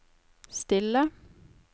stille